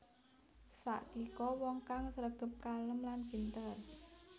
Sakiko wong kang sregep kalem lan pinter